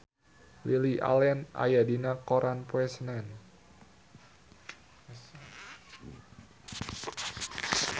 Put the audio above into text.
Lily Allen aya dina koran poe Senen